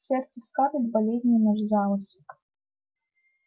сердце скарлетт болезненно сжалось